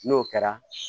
N'o kɛra